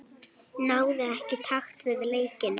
Náði ekki takt við leikinn.